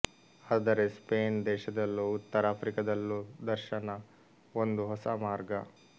ಆದರೆ ಸ್ಪೇನ್ ದೇಶದಲ್ಲೂ ಉತ್ತರ ಆಫ್ರಿಕದಲ್ಲೂ ದರ್ಶನ ಒಂದು ಹೊಸ ಮಾರ್ಗ